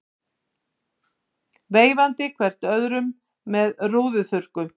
Veifandi hver öðrum með rúðuþurrkum.